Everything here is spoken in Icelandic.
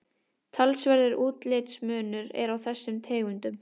talsverður útlitsmunur er á þessum tegundum